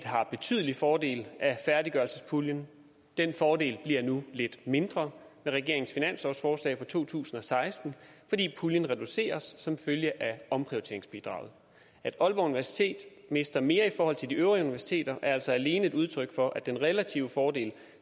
har betydelig fordel af færdiggørelsespuljen den fordel bliver nu lidt mindre med regeringens finanslovsforslag for to tusind og seksten fordi puljen reduceres som følge af omprioriteringsbidraget at aalborg universitet mister mere i forhold til de øvrige universiteter er altså alene et udtryk for at den relative fordel